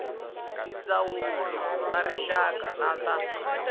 tindzawulo ta rixaka na ta